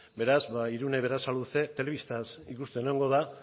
beraz irune berasaluze telebistaz ikusten egongo da